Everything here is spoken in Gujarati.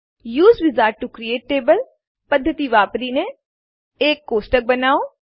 use wizard to create table પધ્ધતિ વાપરીને એક ટેબલ બનાવો